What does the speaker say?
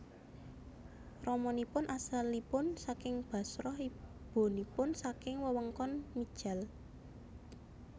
Ramanipun asalipun saking Bashrah ibunipun saking wewengkon Mijdal